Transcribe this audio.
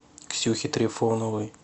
ксюхи трифоновой